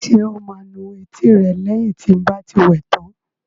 Ṣé o máa nu etí rẹ lẹ́yìn tí n bá ti wẹ tán?